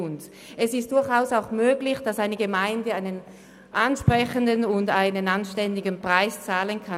Es ist durchaus möglich, dass eine Gemeinde einen ansprechenden und anständigen Preis bezahlen kann.